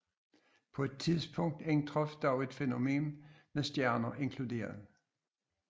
På et tidspunkt indtraf dog et fænomen med stjerner inkluderet